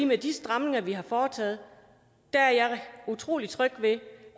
med de stramninger vi har foretaget er utrolig tryg ved